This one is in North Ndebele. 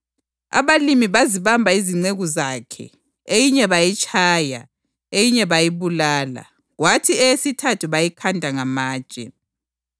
Abalimi bazibamba izinceku zakhe; eyinye bayitshaya, eyinye bayibulala kwathi eyesithathu bayikhanda ngamatshe.